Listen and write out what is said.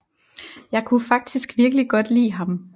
Jeg kunne faktisk virkelig godt lide ham